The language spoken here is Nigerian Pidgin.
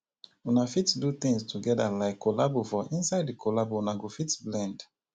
una fit do things together like collabo for inside di collabo una go fit blend